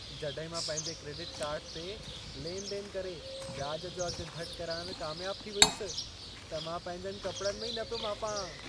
जॾहिं मां पंहिंजे क्रेडिट कार्ड ते लेन देन करे व्याज जो अघ घटि कराइण में कामयाब थी वियुसि, त मां पंहिंजनि कपड़नि में ई न पियो मापां।